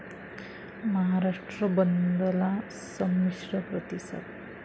महाराष्ट्र बंदला संमिश्र प्रतिसाद